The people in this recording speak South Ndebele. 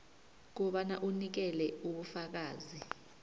kobana unikele ubufakazi